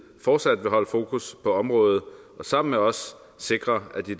fortsat vil holde fokus på området og sammen med os sikre at de